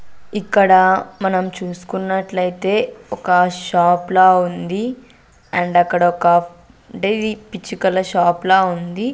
ఇక్కడ మనం చూసుకున్నట్లయితే ఒక షాప్ లా ఉంది అండ్ అక్కడ ఒక అంటే ఇది పిచ్చుకల షాప్ లా ఉంది.